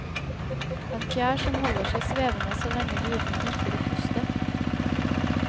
En fjær som holder seg svevende så lenge gudene orker å puste.